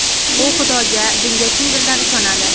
U Xudoga, dinga chin dildan ishonadi.